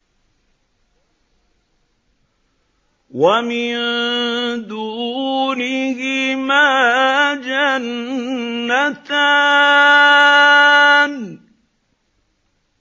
وَمِن دُونِهِمَا جَنَّتَانِ